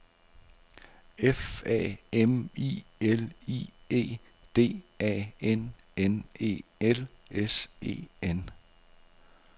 F A M I L I E D A N N E L S E N